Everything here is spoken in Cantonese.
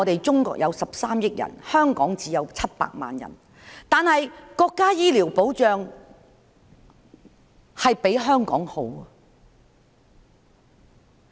中國有13億人，香港只有700萬人，但是國家的醫療保障比香港好。